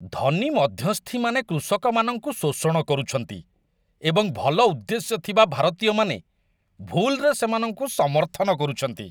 ଧନୀ ମଧ୍ୟସ୍ଥିମାନେ କୃଷକମାନଙ୍କୁ ଶୋଷଣ କରୁଛନ୍ତି ଏବଂ ଭଲ ଉଦ୍ଦେଶ୍ୟ ଥିବା ଭାରତୀୟମାନେ ଭୁଲ୍‌ରେ ସେମାନଙ୍କୁ ସମର୍ଥନ କରୁଛନ୍ତି।